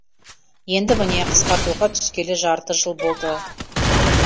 енді міне қысқартуға түскелі жарты жыл болды